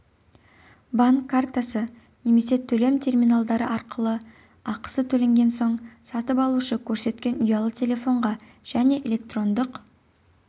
банк картасы немесе төлем терминалдары арқылы ақысы төленген соң сатып алушы көрсеткен ұялы телефонға және электрондық